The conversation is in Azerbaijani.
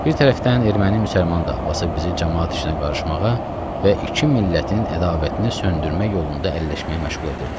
Bir tərəfdən erməni-müsəlman davası bizi camaat işinə qarışmağa və iki millətin ədavətini söndürmək yolunda əlləşməyə məşğul edirdi.